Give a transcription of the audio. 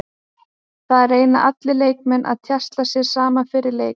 Það reyna allir leikmenn að tjasla sér saman fyrir þennan leik.